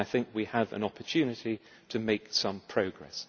We have an opportunity to make some progress.